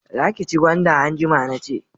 Za ki ci gwanda anjima nace